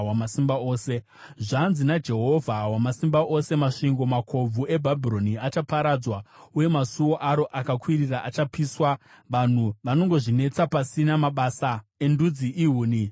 Zvanzi naJehovha Wamasimba Ose: “Masvingo makobvu eBhabhironi achaparadzwa, uye masuo aro akakwirira achapiswa; vanhu vanongozvinetsa pasina, mabasa endudzi ihuni dzomurazvo bedzi.”